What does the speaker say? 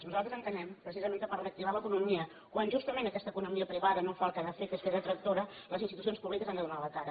nosaltres entenem precisament que per reactivar l’economia quan justament aquesta economia privada no fa el que ha de fer que és fer de tractora les institucions públiques han de donar la cara